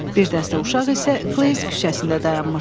Bir dəstə uşaq isə Kleys küçəsində dayanmışdı.